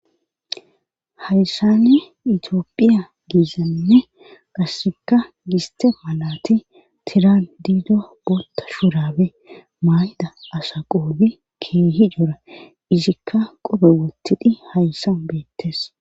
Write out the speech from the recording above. hayssane itiophiya giizainne qasseka giste maalati tiran diido bootta shurabe mayda asa qoobi keehi dora isikka qobe wottidhi hayssan beettes